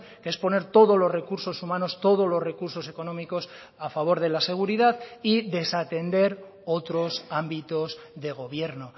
que es poner todos los recursos humanos todos los recursos económicos a favor de la seguridad y desatender otros ámbitos de gobierno